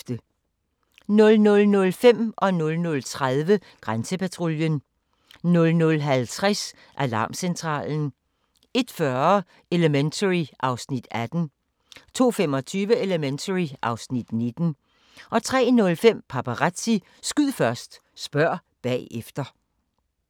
00:05: Grænsepatruljen 00:30: Grænsepatruljen 00:50: Alarmcentralen 01:40: Elementary (Afs. 18) 02:25: Elementary (Afs. 19) 03:05: Paparazzi - skyd først, spørg bagefter